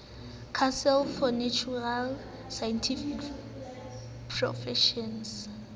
council for natural scientific professions